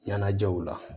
Ɲɛnajɛw la